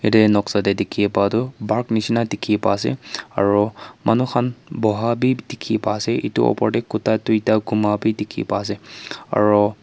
yede noksa dikhiea pa du bark nishi na dikhi pa asey aro manu khan boha bi dikhi pa asey etu opor deh kuta duita guma bi dikhi pa asey aro--